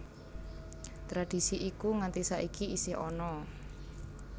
Tradisi iku nganti saiki isih ana